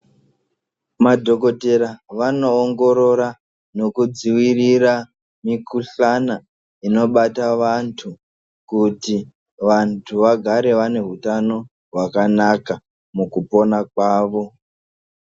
Madhogodheya vanoongorora nokudzivirira mikuhlana inobata vantu. Kuti vantu vagare vane hutano hwakanaka mukupona kwavo.